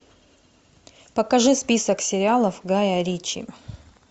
покажи список сериалов гая ричи